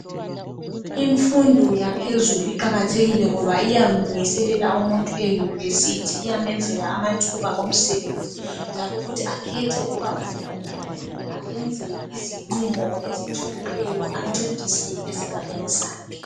Infundo yaphezulu iqakathekile ngoba ayamlungiselela umuntu eyunivesithi .Iyamenzela amathuba omsebenzi njalo futhi akhethe ukuba ufuna ukuba yini .Ayenze izinqumo ezijulileyo ,ancedise esigabeni sakhe.